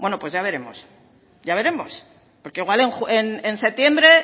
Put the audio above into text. pero ya veremos ya veremos porque igual en septiembre